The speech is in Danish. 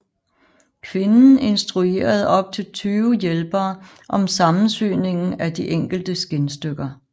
Kvinden instruerede op til tyve hjælpere om sammensyningen af de enkelte skindstykker